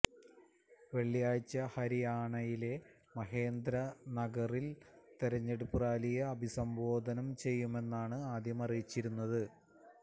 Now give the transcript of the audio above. വെള്ളിയാഴ്ച ഹരിയാണയിലെ മഹേന്ദ്രഗറില് തിരഞ്ഞെടുപ്പ് റാലിയെ അഭിസംബോധന ചെയ്യുമെന്നാണ് ആദ്യം അറിയിച്ചിരുന്നത്